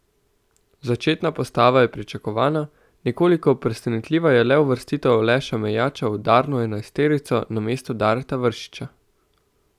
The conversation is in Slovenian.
Začetna postava je pričakovana, nekoliko presenetljiva je le uvrstitev Aleša Mejača v udarno enajsterico namesto Dareta Vršiča.